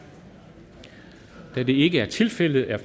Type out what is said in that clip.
da det ikke er tilfældet er